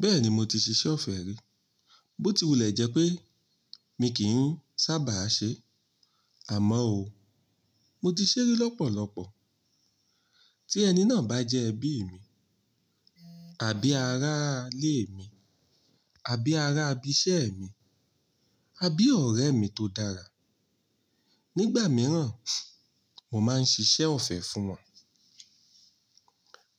Bẹ́ẹ̀ni mo ti ṣiṣẹ́ ọ̀fẹ́ rí, bó ti wùlẹ̀ jẹ́ pé mi kìí sábà ṣe é. Àmọ́ ó, mo ti ṣẹ́ rí lọ́pọ̀lọpọ̀. Tí ẹni náà bá jẹ́ ẹbí mi, àbí ará ilé mi, àbí ará ibiṣẹ́ mi, àbí ọ̀rẹ́ mi tó dára, nígbà mìíràn, mo máa ń ṣiṣẹ́ ọ̀fẹ́ fún wọn.